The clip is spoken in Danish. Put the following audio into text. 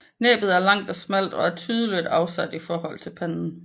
Næbbet er langt og smalt og er tydeligt afsat i forhold til panden